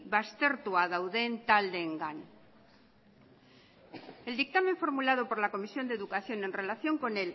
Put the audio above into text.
baztertuak dauden taldeengan el dictamen formulado por la comisión de educación en relación con